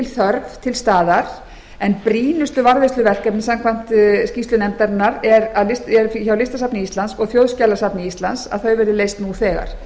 þörf til staðar en brýnustu varðveisluverkefnin samkvæmt skýrslu nefndarinnar eru hjá listasafni íslands og þjóðskjalasafni íslands að þau verði leyst nú þegar